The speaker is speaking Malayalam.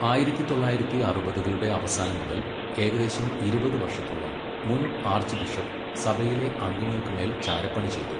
ആയിരത്തി തൊള്ളായിരത്തി അറുപതുകളുടെ അവസാനം മുതൽ ഏകദേശം ഇരുപത് വർഷത്തോളം മുൻ ആർച്ച് ബിഷപ്പ് സഭയിലെ അംഗങ്ങൾക്ക് മേൽ ചാരപ്പണി ചെയ്തു.